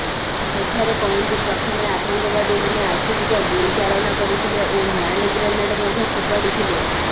ସେଠାରେ ପହଁଚି ପ୍ରଥମେ ଆତଙ୍କବାଦୀମାନେ ଆଖିବୁଜା ଗୁଳିଚାଳନା କରିଥିଲେ ଓ ହ୍ୟାଣ୍ଡ ଗ୍ରେନେଡ ମଧ୍ୟ ଫୋପାଡିଥିଲେ